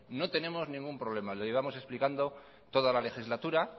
no tenemos ningún problema lo llevamos explicando toda la legislatura